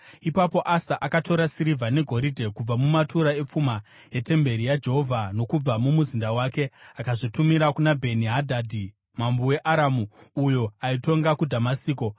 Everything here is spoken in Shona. Ipapo Asa akatora sirivha negoridhe kubva mumatura epfuma yetemberi yaJehovha nokubva mumuzinda wake akazvitumira kuna Bheni-Hadhadhi mambo weAramu, uyo aitonga kuDhamasiko.